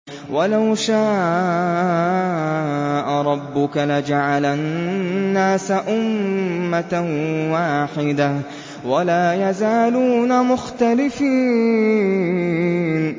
وَلَوْ شَاءَ رَبُّكَ لَجَعَلَ النَّاسَ أُمَّةً وَاحِدَةً ۖ وَلَا يَزَالُونَ مُخْتَلِفِينَ